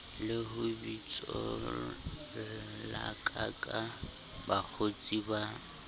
le ho bitsollakaka bakgotsi ba